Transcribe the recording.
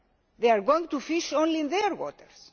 share. They are going to fish only in their